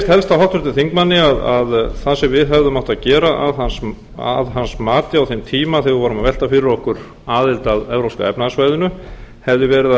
helst á háttvirtum þingmanni að það sem við hefðum átt að gera að hans mati á þeim tíma þegar við vorum að velta fyrir okkur aðild að evrópska efnahagssvæðinu hefði verið